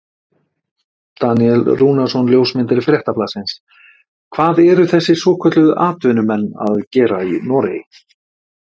Daníel Rúnarsson ljósmyndari Fréttablaðsins: Hvað eru þessir svokölluðu atvinnumenn að gera í Noregi?